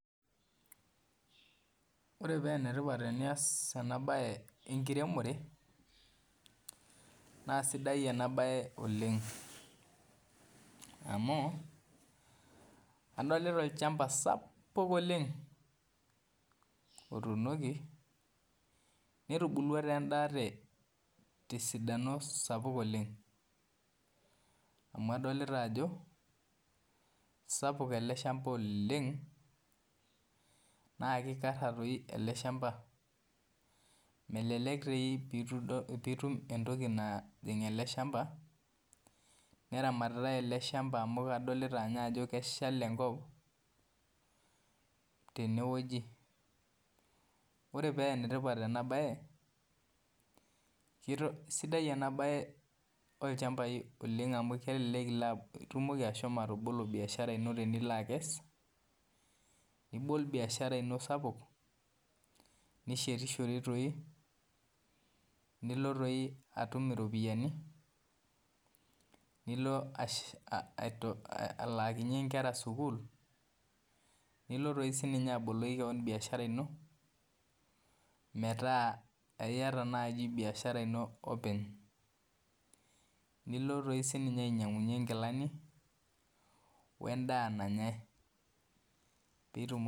koreee paa enetipat teniaas ena bae enkirimoree naa enetipat oleng amuu kadoolita olchamba sapuk oleng ootunuki netubuuluaa taa endaa tee sidano sapuk oleng amuu kadoolita ajo sapuk ele shambaa oleng na kikaraa